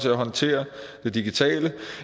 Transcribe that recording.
at håndtere det digitale